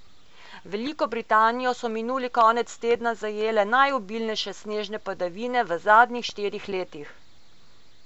Veliko Britanijo so minuli konec tedna zajele najobilnejše snežne padavine v zadnjih štirih letih.